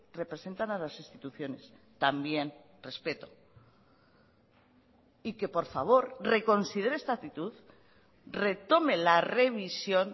representan a las instituciones también respeto y que por favor reconsidere esta actitud retome la revisión